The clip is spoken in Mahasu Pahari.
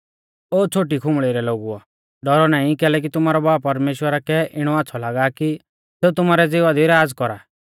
ओ छ़ोटी खुंबल़ी रै लोगुओ डौरौ नाईं कैलैकि तुमारौ बाब परमेश्‍वरा कै इणौ आच़्छ़ौ लागा कि सेऊ तुमारै ज़िवा दी राज़ कौरा